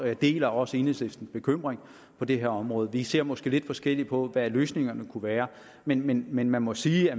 jeg deler også enhedslistens bekymring på det her område vi ser måske lidt forskelligt på hvad løsningerne kunne være men men man man må sige at